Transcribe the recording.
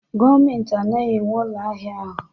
Gọọmentị anaghị enwe ụlọ ahịa ahụ